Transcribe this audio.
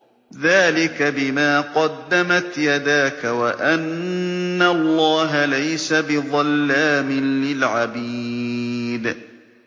ذَٰلِكَ بِمَا قَدَّمَتْ يَدَاكَ وَأَنَّ اللَّهَ لَيْسَ بِظَلَّامٍ لِّلْعَبِيدِ